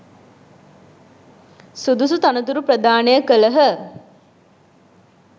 සුදුසු තනතුරු ප්‍රදානය කළහ.